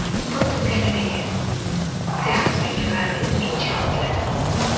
Fotogalereya: Texasdagi g‘aroyib inshootlar.